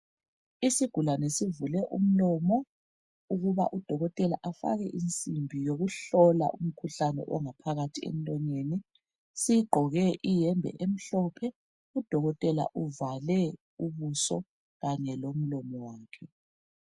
Isigulane sivule umlomo ukuba udokotela afake insimbi yokuhlola umkhuhlane ongaphakathi emlonyeni siqgoke iyembe emhlophe udokotela uvale ubuso Kanye lomlomo wakhe